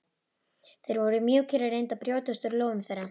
Þeir voru mjúkir og reyndu að brjótast úr lófum þeirra.